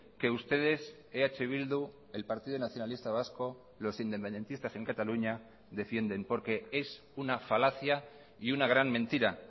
que ustedes eh bildu el partido nacionalista vasco los independentistas en cataluña defienden porque es una falacia y una gran mentira